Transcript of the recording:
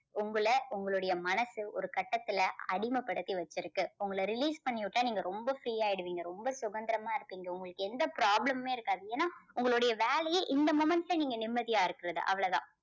உங்கள உங்களுடைய மனசு ஒரு கட்டத்துல அடிமைப்படுத்தி வச்சிருக்கு. உங்கள release பண்ணி விட்டா நீங்க ரொம்ப free ஆயிடுவீங்க. ரொம்ப சுதந்திரமா இருப்பீங்க. உங்களுக்கு எந்த problem மே இருக்காது. ஏன்னா உங்களுடைய வேலையே இந்த moment ல நீங்க நிம்மதியா இருக்கிறது அவ்வளவுதான்.